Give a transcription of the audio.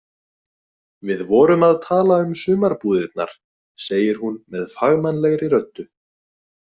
Við vorum að tala um sumarbúðirnar, segir hún með fagmannlegri röddu.